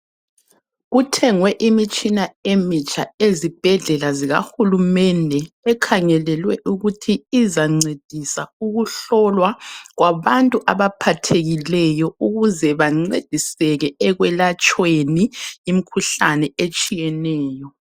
Kuthengwe imitshina emitsha ezibhedlela zika Hulumende. Ekhangelelwe ukuthi izancedisa ukuhlolwa kwabantu abaphathekileyo ukuze bancediseke ekwelatshweni imikhuhlane etshiyeneyo.